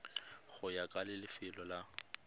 go ya ka lefelo la